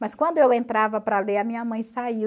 Mas quando eu entrava para ler, a minha mãe saía.